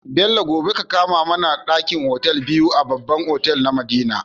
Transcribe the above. Bello gobe ka kama mAna dakin otal biyu a babban otal na madina